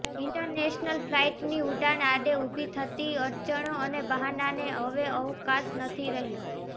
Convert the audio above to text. international ફલાઇટની ઉડાન આડે ઊભી થતી અડચણો અને બહાનાને હવે અવકાશ નથી રહ્યો